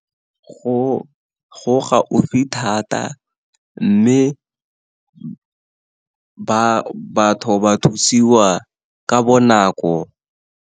Go gaufi thata, mme batho ba thusiwa ka bonako.